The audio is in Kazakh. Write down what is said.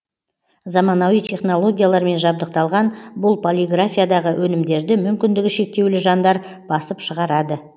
заманауи технологиялармен жабдықталған бұл полиграфиядағы өнімдерді мүмкіндігі шектеулі жандар басып шығарады